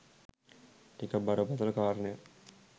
ටිකක් බරපතල කාරණයක්.